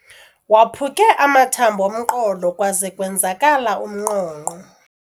Waphuke amathambo omqolo kwaze kwenzakala umnqonqo.